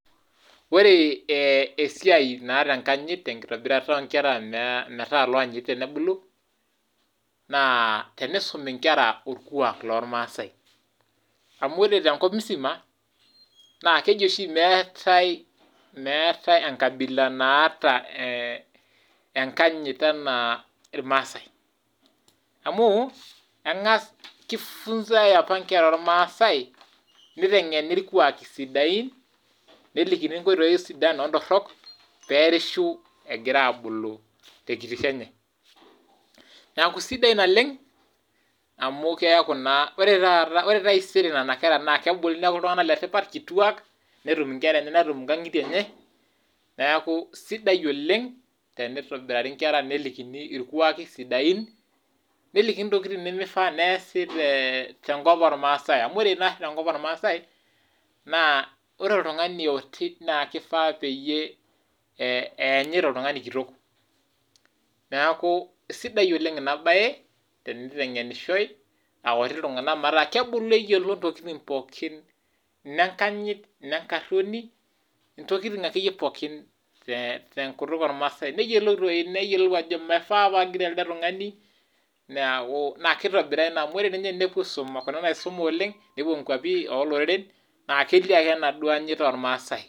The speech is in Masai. Ore ee esiai naata enkanyit te nkitobirata o nkera metaa looanyiti tenebulu naa tenisumi nkera orkuak lormaasai amu ore tenkop musima, keji oshi meetai meetai enkabila naata enkanyit enaa irmaasai amu eng'as ki funza i apa nkera ormaasai niteng'eni irkuaaki sidain, nelikini nkoitoi sidan o ntorok peerishu egira abulu te kitishu enye. Neeku sidai naleng' amu keyaku naa kore taata kore taisere nena kera naa kebulu neeku iltung'anak letipat kituak, netum nkera enye, netum nkang'itie enye neeku sidai oleng' tenitobirari nkera nelikini irkuaki sidain , nelikini ntokitin nemifaa neasi, ee tenkop ormaasai. Amu ore nari tenkop ormaasai, naa ore oltung'ani oti naake ifaa peyie eyanyit oltung'ani kitok. Neeku sidai oleng' ina baye teniteng'enishoi a kuti iltung'anak metaa kebulu eyiolo ntokitin pookin ine nkanyit, ine nkaroni ntokitin ake yie pookin te te nkutuk ormaasai neyolou toi neyolou ajo mifaa paagiroo elde tung'ani neeku naa kitobiraa ina amu kore ninye enepuo aisuma kuna naisuma oleng' nepuo nkuapi oo loreren naa kelio ake enaduo anyit ormaasai..